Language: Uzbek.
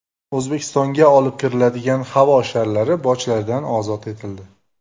O‘zbekistonga olib kiriladigan havo sharlari bojlardan ozod etildi.